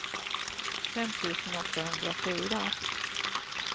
fem tusen åttahundrafyra